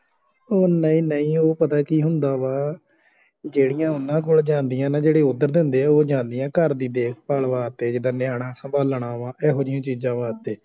ਉਹ ਨਹੀਂ ਨਹੀਂ ਉਹ ਪਤਾ ਕਿ ਹੁੰਦਾ ਵਾ ਜਿਹੜੀਆਂ ਓਹਨਾ ਕੋਲ ਜਾਂਦੀਆਂ ਨਾ ਜਿਹੜੇ ਓਧਰ ਦੇ ਹੁੰਦੇ ਆ ਉਹ ਜਾਂਦੀਆਂ ਘਰ ਦੀ ਦੇਖ ਭਾਲ ਵਾਸਤੇ ਜਿੰਦਾ ਨਿਆਣਾ ਸੰਬਾਲਣਾ ਵਾ ਇਹੋ ਜੇਹਿਆ ਚੀਜ਼ਾਂ ਵਾਸਤੇ